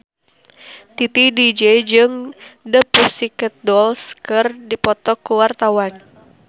Titi DJ jeung The Pussycat Dolls keur dipoto ku wartawan